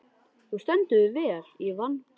Þú stendur þig vel, Ívan!